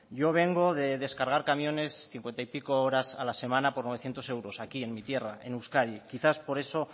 yo vengo de descargar camiones cincuenta y pico horas a la semana por novecientos euros aquí en mi tierra en euskadi quizás por eso